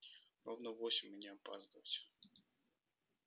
ровно в восемь и не опаздывать